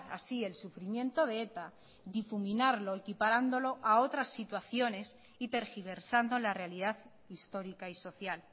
así el sufrimiento de eta difuminarlo equiparándolo a otras situaciones y tergiversando la realidad histórica y social